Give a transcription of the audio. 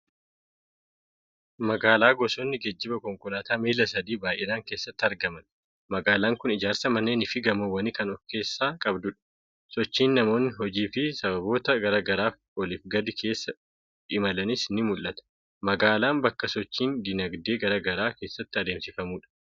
Magaalaa gosoonni geejjiba konkolaataa miilla sadii baay'inaan keessatti argaman. Magaalaa kun ijaarsa manneenii fi gamoowwanii kan ofkeessaa qabdudha. Sochiin namoonni hojii fi sababoota garaa garaaf oliif gadi keessa imalanis ni mul'ata. Magaalaan bakka sochiin dinagdee garaa garaa keessatti adeemsifamudha.